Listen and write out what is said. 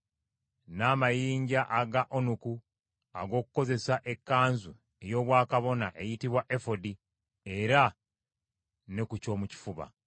n’amayinja aga onuku n’amayinja amalala ag’omuwendo, ag’okutona ku kkanzu ey’obwakabona eyitibwa efodi era ne ku kyomukifuba.